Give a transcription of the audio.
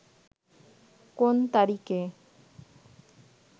কোন তারিখে